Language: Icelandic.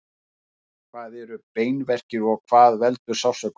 hvað eru beinverkir og hvað veldur sársaukanum